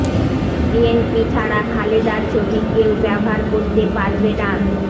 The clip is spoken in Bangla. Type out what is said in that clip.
বিএনপি ছাড়া খালেদার ছবি কেউ ব্যবহার করতে পারবে না